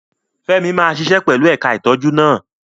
Femi máa ṣiṣẹ́ pẹ̀lú ẹ̀ka ìtọ́jú náà.